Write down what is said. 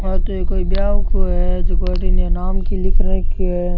आ तो कोई बियाह को है जेका अठीने नाम के लिख रखे है।